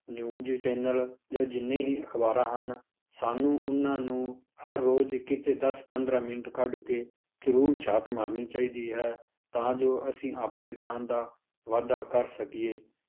News channel ਜਾਂ ਜਿੰਨੀ ਹੀ ਅਖ਼ਬਾਰਾਂ ਹਨ ਸਾਨੂੰ ਉਹਨਾਂ ਨੂੰ ਹਰ ਰੋਜ਼ ਕਿਤੇ ਦਸ ਪੰਦਰਾਂ ਮਿੰਟ ਕੱਢ ਕੇ ਜ਼ਰੂਰ ਝਾਤ ਮਾਰਨੀ ਚਾਹੀਦੀ ਹੈ ਤਾਂ ਜੋ ਅਸੀਂ ਆਪਣੇ ਗਿਆਨ ਦਾ ਵਾਧਾ ਕਰ ਸਕੀਏ